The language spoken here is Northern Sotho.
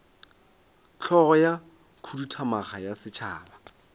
hlogo ya khuduthamaga ya setšhaba